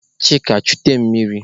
Chika chute mmiri!